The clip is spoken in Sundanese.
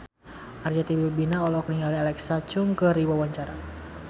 Arzetti Bilbina olohok ningali Alexa Chung keur diwawancara